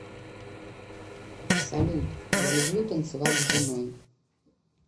салют я люблю танцевать с женой